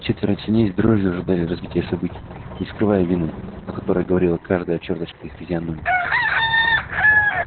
четверо свиней с дрожью ожидали развития событий не скрывая вины о которой говорила каждая чёрточка их физиономий